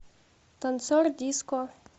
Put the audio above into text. танцор диско